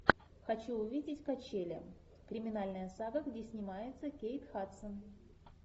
хочу увидеть качели криминальная сага где снимается кейт хадсон